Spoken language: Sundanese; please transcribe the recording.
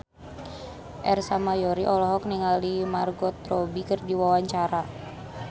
Ersa Mayori olohok ningali Margot Robbie keur diwawancara